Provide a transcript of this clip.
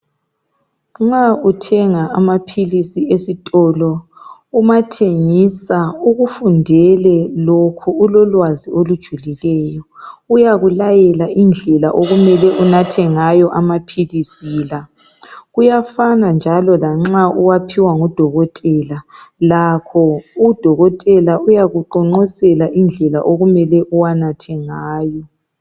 Nxa uthenga amaphilisi esitolo, umathengisa ukufundele lokho ulolwazi olujulileyo. Uyakulayela indlela okumele unathe ngayo amaphilisi la. Kuyafana njalo lanxa uwaphiwa ngo Dokotela lakho uDokotela uyakuqonqosela indlela okumele uwanathe ngayo.